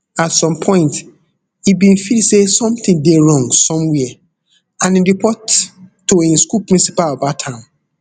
at some point e bin feel say somtin dey wrong somwia and e report to im school principal about am